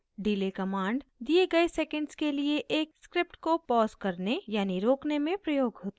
delay command दिए गए seconds के लिए एक script को पॉज़ करने यानि रोकने में प्रयोग होती है